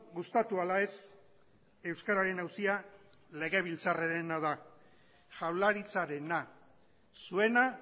gustatu ala ez euskararen auzia legebiltzarrarena da jaurlaritzarena zuena